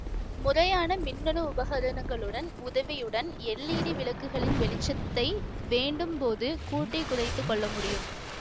முறையான மின்னணு உபகரணங்களுடன் உதவியுடன் எல்ஈடி விளக்குகளின் வெளிச்சத்தை வேண்டும் போது கூட்டி குறைத்து கொள்ள முடியும்